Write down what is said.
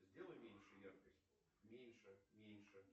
сделай меньше яркость меньше меньше